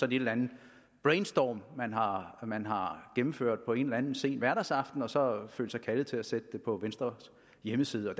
en eller anden brainstorm man har gennemført på en eller anden sen hverdagsaften og så følt sig kaldet til at sætte det på venstres hjemmeside og